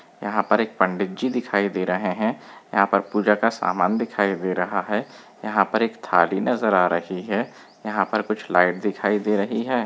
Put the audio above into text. यहाँ पर एक पंडित जी दिखाई दे रहे हैं यहाँ पर पूजा का सामान दिखाई दे रहा है यहाँ पर एक थाली नजर आ रही है यहाँ पर कुछ लाइट दिखाई दे रही हैं।